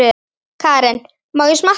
Karen: Má ég smakka?